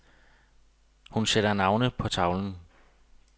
Hun sætter navnene på tavlen.